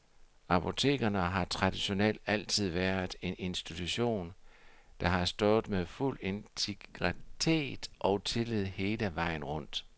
Apotekerne har traditionelt altid været en institution, der har stået med fuld integritet og tillid hele vejen rundt.